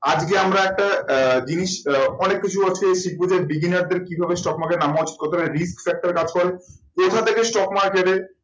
আজকে আমরা একটা আহ জিনিস আহ অনেক কিছু আজকে শিখবো যে beginner দের কিভাবে stock market এ কতটা risk factor কাজ করে। তো এখান থেকে stock market এ